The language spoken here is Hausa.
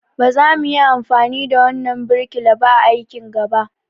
Ba za muyi amfani da wannan birkila ba a aikin gaba.